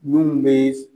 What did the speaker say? Mun bɛ